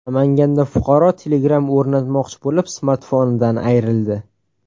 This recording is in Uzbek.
Namanganda fuqaro Telegram o‘rnatmoqchi bo‘lib, smartfonidan ayrildi.